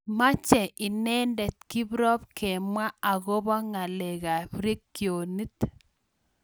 Meche inendet kiprop kemwa akobo ngalek ab regionit.